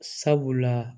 Sabula